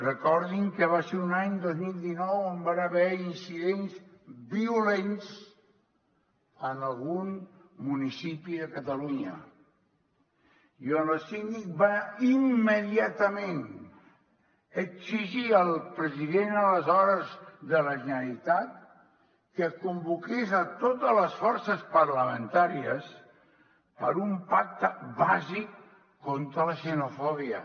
recordin que va ser un any dos mil dinou on van haver incidents violents en algun municipi de catalunya i on el síndic va immediatament exigir al president aleshores de la generalitat que convoqués a totes les forces parlamentàries per a un pacte bàsic contra la xenofòbia